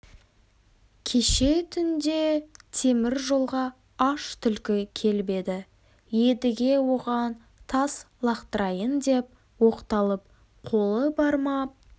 кеше түнде темір жолға аш түлкі келіп еді едіге оған тас лақтырайын деп оқталып қолы бармап